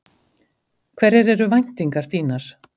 Hverjar eru væntingar þínar?